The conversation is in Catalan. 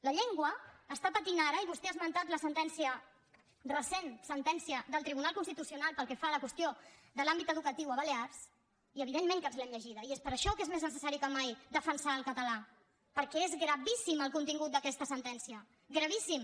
la llengua està patint ara i vostè ha esmentat la sentència recent sentència del tribunal constitucional pel que fa a la qüestió de l’àmbit educatiu a balears i evidentment que ens l’hem llegida i és per això que és més necessari que mai defensar el català perquè és gravíssim el contingut d’aquesta sentència gravíssim